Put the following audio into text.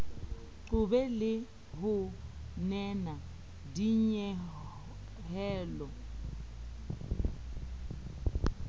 qobe le ho nena dinyehelo